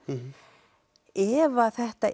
ef að þetta